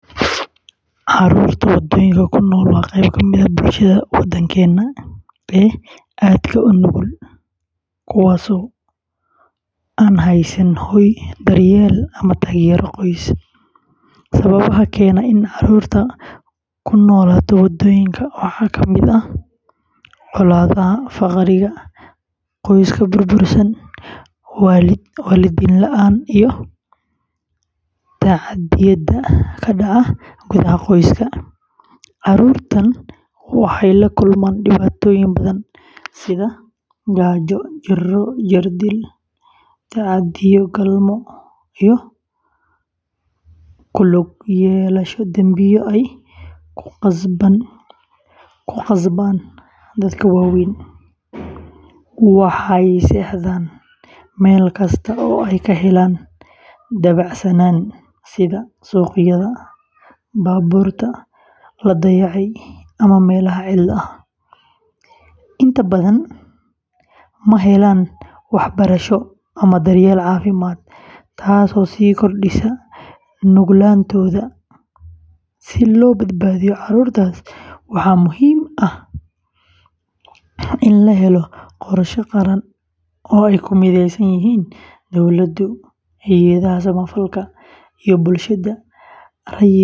Carruurta waddooyinka ku nool waa qayb ka mid ah bulshada Soomaaliyeed ee aadka u nugul, kuwaasoo aan haysan hoy, daryeel, ama taageero qoys. Sababaha keena in carruurtu ku noolaatay waddooyinka waxaa ka mid ah colaadaha, faqriga, qoysaska burbursan, waalidiin la’aanta, iyo tacaddiyada ka dhaca gudaha qoysaska. Carruurtan waxay la kulmaan dhibaatooyin badan sida gaajo, jirro, jirdil, tacaddiyo galmo, iyo ku lug yeelashada dambiyo ay ku khasbaan dadka waaweyn. Waxay seexdaan meel kasta oo ay ka helaan dabacsanaan, sida suuqyada, baabuurta la dayacay, ama meelaha cidla ah. Inta badan ma helaan waxbarasho ama daryeel caafimaad, taasoo sii kordhisa nuglaantooda. Si loo badbaadiyo carruurtaas, waxaa muhiim ah in la helo qorshe qaran oo ay ku mideysan yihiin dowladdu, hay’adaha samafalka, iyo bulshada rayidka ah.